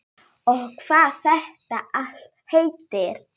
Og hvað þetta allt heitir.